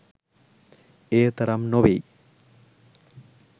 එය තරම් නොවෙයි.